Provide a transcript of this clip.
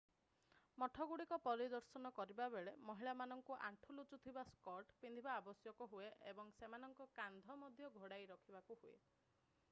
ମଠଗୁଡ଼ିକ ପରିଦର୍ଶନ କରିବା ବେଳେ ମହିଳାମାନଙ୍କୁ ଆଣ୍ଠୁ ଲୁଚୁଥିବା ସ୍କର୍ଟ ପିନ୍ଧିବା ଆବଶ୍ୟକ ହୁଏ ଏବଂ ସେମାନଙ୍କ କାନ୍ଧ ମଧ୍ୟ ଘୋଡାଇ ରଖିବାକୁ ହୁଏ